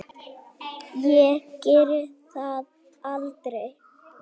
Ég geri það aldrei.